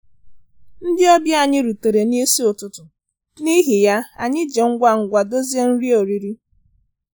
Ndị ọbịa anyị rutere n'isi ụtụtụ, n'ihi ya, anyị ji ngwa ngwa dozie nri oriri